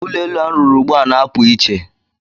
Ụlọ elu a rụrụ ugbu a na-apụ iche.